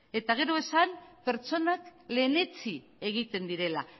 eta gero esan pertsonak lehenetsi egiten direla